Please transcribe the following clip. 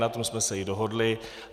Na tom jsme se i dohodli.